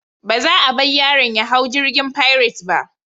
Ba za a bar yaron ya hau jirgin Pirates ba.